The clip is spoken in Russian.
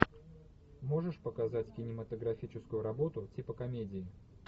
можешь показать кинематографическую работу типа комедии